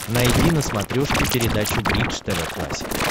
найди на смотрешке передачу бридж тв классик